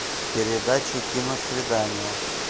передача киносвидание